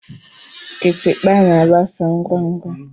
Kitikpa na-agbasa ngwa ngwa.